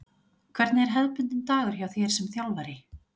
Hvernig er hefðbundinn dagur hjá þér sem þjálfari?